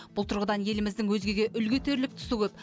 бұл тұрғыдан еліміздің өзгеге үлгі етерлік тұсы көп